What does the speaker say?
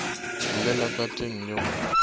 llela ka teng le go